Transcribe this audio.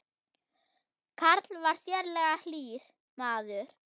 Karl var sérlega hlýr maður.